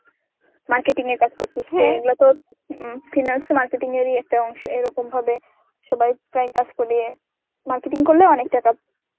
marketing এর কাজ করতেছে. এগুলো তো উম Finance এ marketing এরই একটা অংশ এরকম হবে সবাই প্রায় কাজ করিয়ে marketing করলে অনেক টাকা